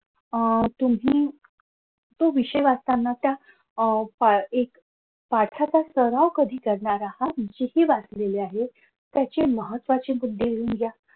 अह तुम्ही तो विषय वाचताना त्या अह एक पाठाचा सराव कधी करणार आहात हेही वाचलेलं आहे. त्याचे महत्वाचे मुद्दे लिहून घ्या.